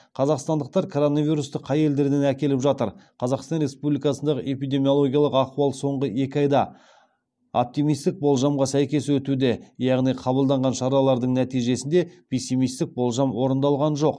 қазақстандықтар коронавирусты қай елдерден әкеліп жатыр қазақстан республикасындағы эпидемиологиялық ахуал соңғы екі айда оптимистік болжамға сәйкес өтуде яғни қабылданған шаралардың нәтижесінде пессимистік болжам орындалған жоқ